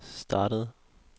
startede